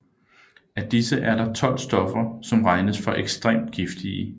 Af disse er der 12 stoffer som regnes for ekstremt giftige